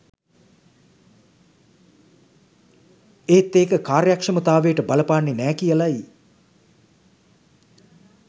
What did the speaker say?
ඒත් ඒක කාර්යක්ෂමතාවයට බලපාන්නෙ නෑ කියලයි